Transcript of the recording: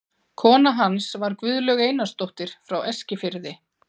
Kona hans var Guðlaug Einarsdóttir frá Eskifirði.